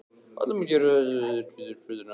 Valdimar gekk hægt eftir hvítum götunum með rauðu húf